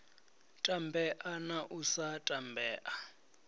tambea na u sa tambea